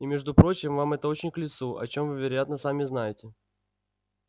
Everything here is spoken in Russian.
и между прочим вам это очень к лицу о чем вы вероятно сами знаете